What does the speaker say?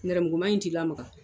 Nɛrɛmuguma in t'i lamaga